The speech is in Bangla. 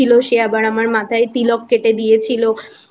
ছিল সে আবার আমার মাথায় তিলক কেটে দিয়েছিলো